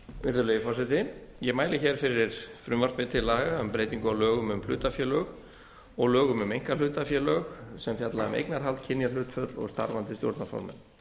virðulegi forseti ég mæli hér fyrir frumvarpi til laga um breytingu á lögum um hlutafélög og lögum um einkahlutafélög sem falla um eignarhald kynjahlutföll og starfandi stjórnarformenn